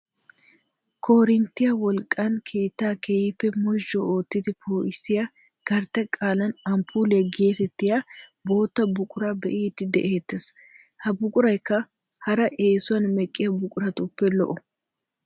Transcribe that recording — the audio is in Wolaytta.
Korinttiyaa wolqqan keettaa keehippe mozhu oottidi poo'isiyaa gartte qaalan amppuuliyaa getettiyaa bootta buquraa be'idi de"eettees. Ha buquraykka hara eesuwaan meqqiyaa buquratuppe lo"o.